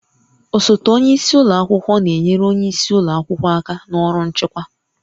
Osote onye isi ụlọ akwụkwọ na-enyere onye isi ụlọ akwụkwọ aka na ọrụ nchịkwa